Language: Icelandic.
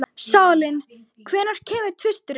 Salín, hvenær kemur tvisturinn?